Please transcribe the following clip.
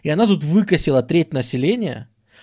и она тут выкосила треть населения